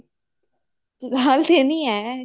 ਹਲੇ ਤਾਂ ਨੀ ਹੈ